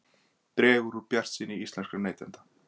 Dregur úr bjartsýni íslenskra neytenda